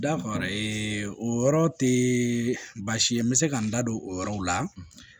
Dafara o yɔrɔ tɛ baasi ye n bɛ se ka n da don o yɔrɔw la